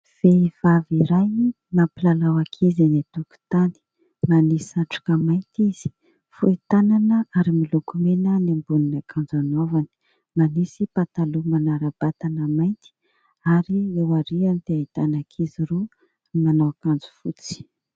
Vehivavy iray mampilalao ankizy eny an-tokotany. Manisy satroka mainty izy, fohy tanana ary miloko mena ny ambonin'akanjo nanaovany. Manisy pataloha manara-batana mainty ary eo aoriany dia ahitana ankizy roa manao akanjo fotsy.